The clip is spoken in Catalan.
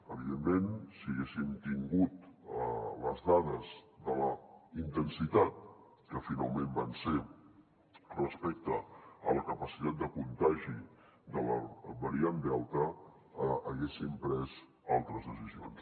evidentment si haguéssim tingut les dades de la intensitat que finalment va ser respecte a la capacitat de contagi de la variant delta haguéssim pres altres decisions